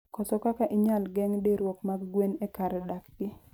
koso kaka inyala geng'diruok mag gwen e kar dak gi.